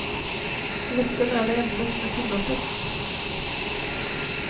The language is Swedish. Lättöl är det enda som är tillåtet.